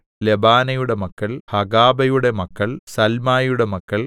ലെബാനയുടെ മക്കൾ ഹഗാബയുടെ മക്കൾ സൽമായിയുടെ മക്കൾ